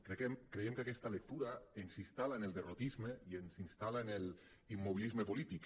creiem que aquesta lectura ens instal·la en el derrotisme i ens instal·la en l’immobilisme polític